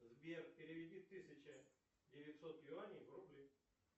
сбер переведи тысяча девятьсот юаней в рубли